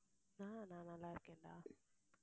அஹ் நான் நல்லா இருக்கேன்டா